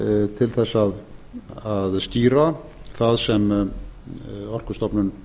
til þess að skýra það sem orkustofnun